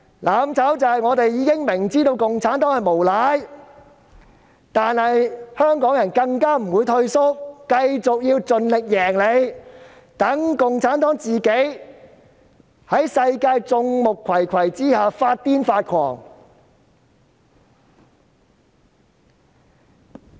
"攬炒"是我們雖然明知共產黨是無賴，但香港人卻不會退縮，繼續盡力戰勝他們，讓共產黨在世界眾目睽睽之下發瘋發狂。